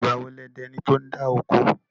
Ìgbà wo lẹ di ẹni tí ó ń dá oko?